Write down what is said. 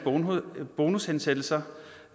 bonushensættelser